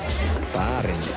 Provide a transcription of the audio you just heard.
barinn